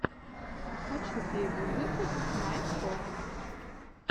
хочу первый выпуск найтфокс